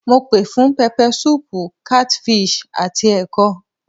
Mo pè fún pepper soup, catfish àti ẹ̀kọ.